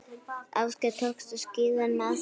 Ásgeir, tókstu skíðin með þér?